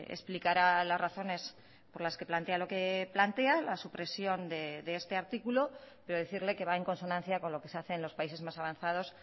explicará las razones por las que plantea lo que plantea la supresión de este artículo pero decirle que va en consonancia con lo que se hace en los países más avanzados